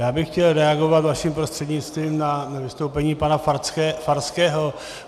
Já bych chtěl reagovat vaším prostřednictvím na vystoupení pana Farského.